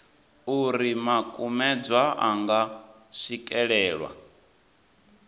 uri makumedzwa a nga swikelelwa